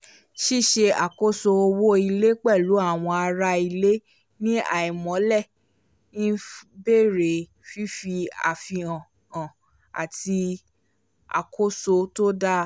ṣíṣe àkóso owó ilé pẹ̀lú àwọn ará ilé ní àìmọ̀lẹ̀ ń béèrè fífi àfihàn han àti àkóso tó dáa